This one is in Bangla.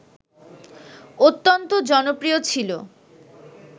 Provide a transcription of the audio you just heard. অত্যন্ত জনপ্রিয় ছিল